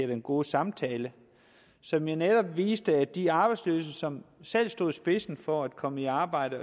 den gode samtale som jo netop viste at de arbejdsløse som selv stod i spidsen for at komme i arbejde